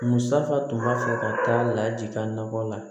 Musaka tun b'a fɛ ka taa lajigin a nɔ la